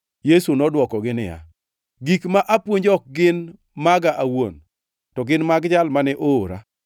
Yesu nodwokogi niya, “Gik ma apuonjo ok gin maga awuon, to gin mag Jal mane oora.